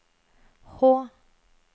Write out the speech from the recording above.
H